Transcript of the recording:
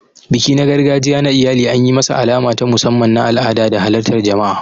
Biki na gargajiya na iyali an yi masa alama ta musamman na al'ada da halartar jama'a.